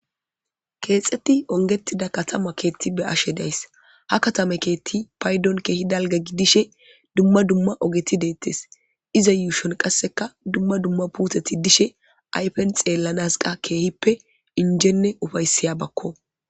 keexeti ongettida katama keethti be ashe days ha katame keetti paydon keehi dalga gidishe dumma dumma ogeti deettes iza yuushon qasseka dumma dumma puuteti dishe aypen xeellanas qa keehippe injenne ufaysiya bakko